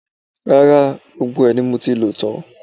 Rárá, gbogbo ẹ̀ ni mo ti lò tán